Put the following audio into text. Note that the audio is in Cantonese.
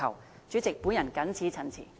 代理主席，我謹此陳辭。